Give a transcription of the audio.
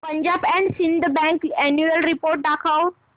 Punjab and Sindh bank annual report दाखव